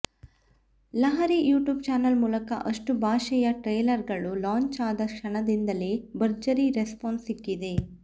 Lahari YouTube channel ಮೂಲಕ ಅಷ್ಟುಭಾಷೆಯ ಟ್ರೇಲರ್ಗಳು ಲಾಂಚ್ ಆದ ಕ್ಷಣಗಳಿಂದಲೇ ಭರ್ಜರಿ ರೆಸ್ಪಾನ್ಸ್ ಸಿಕ್ಕಿದೆ